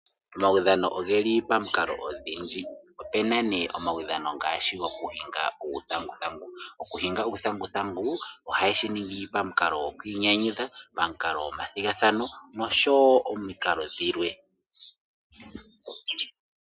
Omawudhano ogeli pamikalo odhindji opu na ne omawudhano ngashi gokuhinga uuthanguthangu, okuhinga uuthanguthangu ohaye shi ningi opamukalo gkwiinyanyudha, pamukalo gwomathigathano nosho wo omikalo dhilwe.